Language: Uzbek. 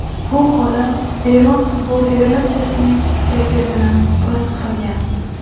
Bu holat Eron Futbol Federatsiyasining kayfiyatini pir qilgan.